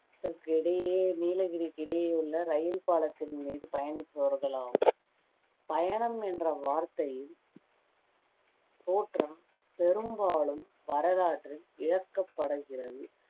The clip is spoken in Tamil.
இடையே நீலகிரிக்கு இடையே உள்ள இரயில் பாலத்தின் மீது பயணிப்பவர்களாம் பயணம் என்ற வார்த்தையின் தோற்றம் பெரும்பாலும் வரலாற்றில் இழக்கப்படகிறது